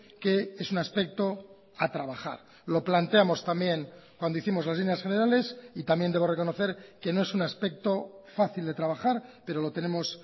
que es un aspecto a trabajar lo planteamos también cuando hicimos las líneas generales y también debo reconocer que no es un aspecto fácil de trabajar pero lo tenemos